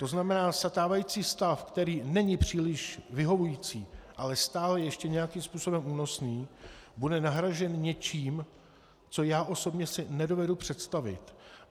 To znamená, stávající stav, který není příliš vyhovující, ale stále ještě nějakým způsobem únosný, bude nahrazen něčím, co já osobně si nedovedu představit.